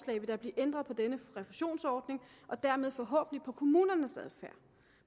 vil der blive ændret på denne refusionsordning og dermed forhåbentlig på kommunernes adfærd